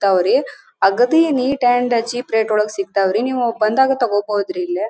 ತಾವ್ರೀ ಅಗದೀ ಎನೀ ಟೀಮ್ದಗ್ ಚೀಪ್ ರೇಟ್ ಒಳಗ್ ಸಿಗತಾವ್ ರೀ ನೀವು ಬಂದಾಗ ತಗೋಬೋದು ರೀ ಇಲ್ಲಿ.